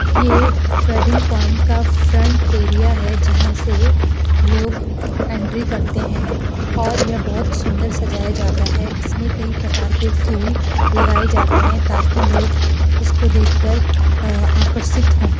यह wedding point का front area है जहाँ से लोग एंट्री करते हैं और यह बहुत सुंदर सजाया जाता है इसमें कई प्रकार के फूल लगाए जाते हैं ताकि लोग इसको देखकर अअ आकर्षित हों।